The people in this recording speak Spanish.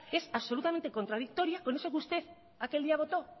es absolutamente contradictoria con eso que usted aquel día votó